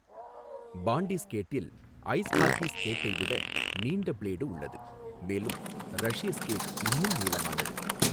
பாண்டி ஸ்கேட்டில் ice hockey ஸ்கேட்டை விட நீண்ட பிளேடு உள்ளது, மேலும் ரஷ்ய ஸ்கேட் இன்னும் நீளமானது.